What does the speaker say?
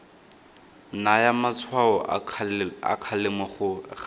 naya matshwao a kgalemo ga